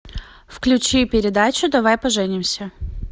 включи передачу давай поженимся